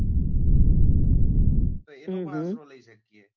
તો એનો પણ આશરો લઇ શકીએ.